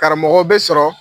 Karamɔgɔw bɛ sɔrɔ